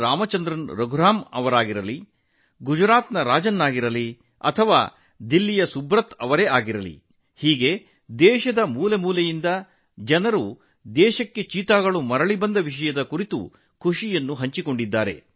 ರಾಮಚಂದ್ರನ್ ರಘುರಾಮ್ ಗುಜರಾತ್ನ ರಾಜನ್ ಅಥವಾ ದೆಹಲಿಯ ಸುಬ್ರತಾ ಹೀಗೆ ದೇಶದ ಮೂಲೆ ಮೂಲೆಗಳಿಂದ ಚೀತಾಗಳು ಭಾರತಕ್ಕೆ ಮರಳಿದ ಬಗ್ಗೆ ಸಂತೋಷ ವ್ಯಕ್ತಪಡಿಸಿದ್ದಾರೆ